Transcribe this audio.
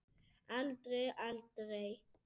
Aldrei, aldrei!